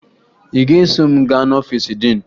Ị ga-eso m gaa n'ọfiisi diin